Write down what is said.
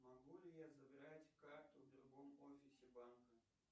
могу ли я забирать карту в другом офисе банка